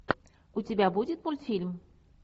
у тебя будет мультфильм